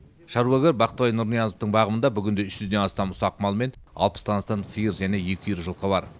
шаруагер бақтыбай нұрниязовтың бағымында бүгінде үш жүзден астам ұсақ мал мен алпыстан астам сиыр және екі үйір жылқы бар